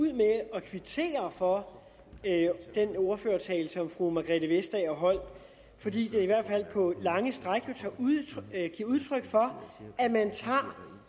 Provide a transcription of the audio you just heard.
at kvittere for den ordførertale som fru margrethe vestager holdt fordi den i hvert fald på lange stræk giver udtryk for at man tager